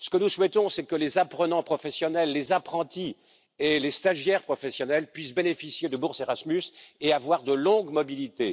Ce que nous souhaitons, c'est que les apprenants professionnels, les apprentis et les stagiaires professionnels puissent bénéficier de bourses Erasmus et avoir de longues mobilités.